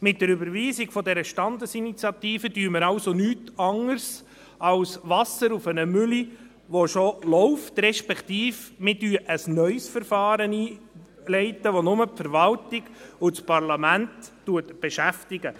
Mit der Überweisung der Standesinitiative machen wir also nichts anderes, als Wasser auf eine Mühle zu führen, die bereits läuft, respektive wir leiten ein neues Verfahren ein, das nur die Verwaltung und das Parlament beschäftigen.